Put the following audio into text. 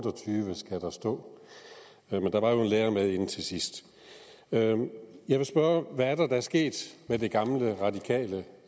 og tyve skal der stå men der var jo en lærer med inde til sidst jeg jeg vil spørge hvad det er der er sket med det gamle radikale